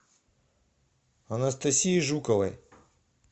анастасии жуковой